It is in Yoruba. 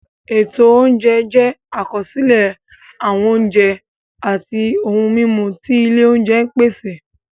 Ètò oúnjẹ jẹ́ àkọsílẹ̀ àwọn oúnjẹ àti ohun-mímu tí ilé oúnjẹ ń pèsè.